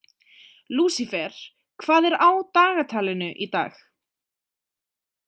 Lúsifer, hvað er á dagatalinu í dag?